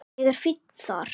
Ég er fínn þar.